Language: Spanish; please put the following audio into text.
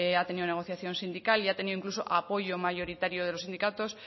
ha tenido negociación sindical y ha tenido incluso apoyo mayoritario de los sindicatos